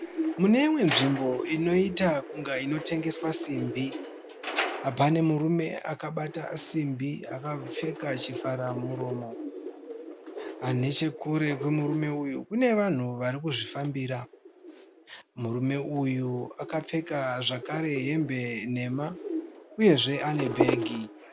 Mune imwe zvimbo inoita kunge inotengeswa simbi . Pane murume akabata simbi , akapfeka chivhara muromo. Neche kure kwe murume uyu kune vanhu vari kuzvifambira . Murume uyu aka pfeka zvekare hembe nhema ,uyezve ane bhegi .